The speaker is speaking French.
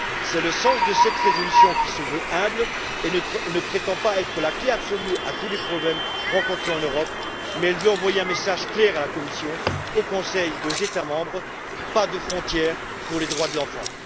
C'est le sens de cette résolution, qui se veut humble et ne prétend pas être la clé absolue de tous les problèmes rencontrés en Europe, mais qui veut envoyer un message clair à la Commission, au Conseil et aux États membres pas de frontières pour les droits de l'enfant!